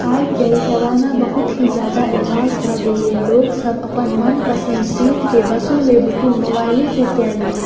आय-काल जमाना बहुत ही ज्यादा एडवांस भ गेल या लोक सब अपन मनपसंद सीट के बसों में बुकिंग मोबाइले से काय लै या।